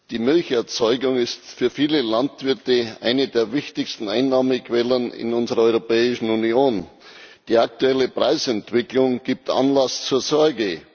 Die Milcherzeugung ist für viele Landwirte eine der wichtigsten Einnahmequellen in unserer Europäischen Union. Die aktuelle Preisentwicklung gibt Anlass zur Sorge.